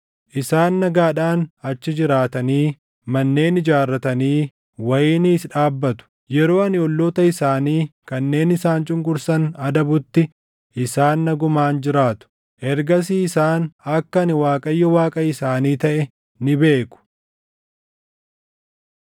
Isaan nagaadhaan achi jiraatanii manneen ijaarratanii wayiniis dhaabbatu; yeroo ani olloota isaanii kanneen isaan cunqursan adabutti, isaan nagumaan jiraatu. Ergasii isaan akka ani Waaqayyo Waaqa isaanii taʼe ni beeku.’ ”